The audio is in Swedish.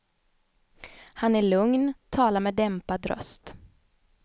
Han är lugn, talar med dämpad röst.